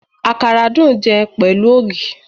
Àkàrà dùn jẹ pẹ̀lú ògì